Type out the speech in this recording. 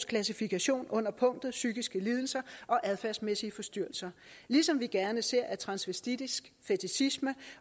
klassifikation under punktet psykiske lidelser og adfærdsmæssige forstyrrelser ligesom vi gerne ser at transvestitisk fetichisme